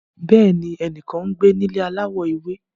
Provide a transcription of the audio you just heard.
Bẹẹni, ẹnikan ngbe ni ile alawọ ewe